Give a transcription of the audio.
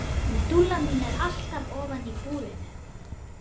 Hún Dúlla mín er alltaf ofan í búrinu.